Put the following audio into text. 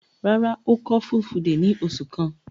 Rárá, ó kọ́ Fulfude ní oṣù kan.